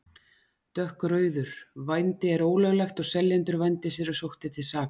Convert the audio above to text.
Dökkrauður: Vændi er ólöglegt og seljendur vændis eru sóttir til saka.